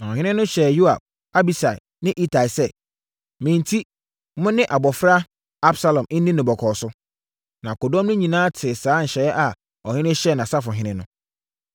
Na ɔhene no hyɛɛ Yoab, Abisai ne Itai sɛ, “Me enti mo ne abɔfra Absalom nni no bɔkɔɔ so.” Na akodɔm no nyinaa tee saa nhyɛ a ɔhene hyɛɛ nʼasafohene no.